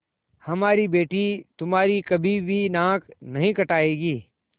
हमारी बेटी तुम्हारी कभी भी नाक नहीं कटायेगी